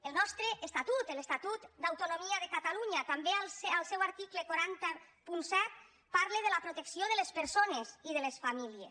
el nostre estatut l’estatut d’autonomia de catalunya també al seu article quatre cents i set parla de la protecció de les persones i de les famílies